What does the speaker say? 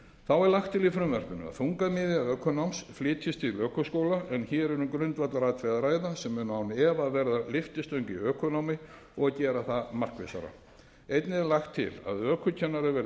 þá er lagt til í frumvarpinu að þungamiðja ökunáms flytjist til ökuskóla hér er um grundvallaratriði að ræða sem mun án efa verða lyftistöng í ökunámi og gera það markvissara einnig er lagt til að ökukennarar verði